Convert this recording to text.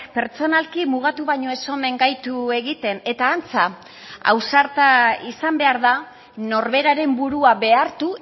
pertsonalki mugatu baino ez omen gaitu egiten eta antza ausarta izan behar da norberaren burua behartu